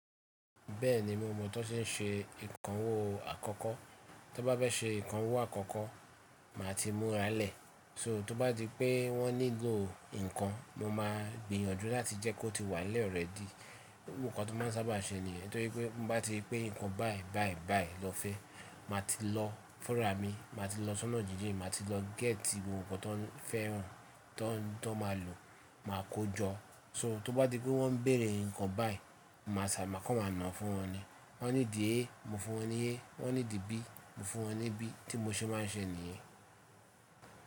Bẹ́ẹ̀ni, mo mọ tó ṣe ń ṣe ìkànwó àkọ́kọ́. Tó bá bẹ́ ṣe ìkànwó àkọ́kọ́, màá ti múra lẹ̀. So tó bá di pé wọ́n nílò ǹkan, mo máa gbìyànjú láti jẹ́ kó ti wà lẹ́ẹ̀ rẹ́ẹ̀dì. Ohun kan tó máa ń sábà ṣe nìyẹn. Nítorí pé mo bá ti pé ǹkan báì báì báì lọ fẹ́, màá ti lọ fúrà mi, màá ti lọ sọ́nà jíjìn, màá ti lọ gẹ́tì ohun kan tó ń fẹ́ràn, tó ń, tó máa lò, màá kójọ. So tó bá di pé wọ́n ń bèrè nǹkan báì, màá sàbà kọ́ wọn mọ̀ fún wọn ni. Wọ́n ní dì e, mo fún wọn ní e. Wọ́n ní dì b, mo fún wọn ní b. Tí mo ṣe máa ń ṣe nìyẹn.